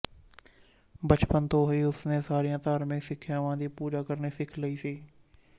ਬਚਪਨ ਤੋਂ ਹੀ ਉਸ ਨੇ ਸਾਰੀਆਂ ਧਾਰਮਿਕ ਸਿੱਖਿਆਵਾਂ ਦੀ ਪੂਜਾ ਕਰਨੀ ਸਿਖ ਲਈ ਸੀ